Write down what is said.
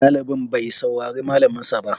Ɗalibin bai saurari malaminsa ba.